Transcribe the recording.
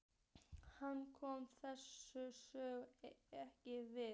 Hann kom þessari sögu ekkert við.